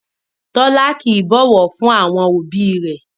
Tọ́lá kìí bọ̀wọ̀ fún àwọn òbí rẹ̀